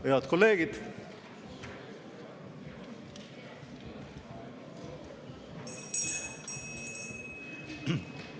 Head kolleegid!